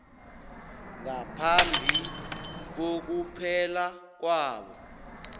ngaphambi kokuphela kwabo